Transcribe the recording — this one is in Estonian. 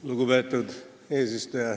Lugupeetud eesistuja!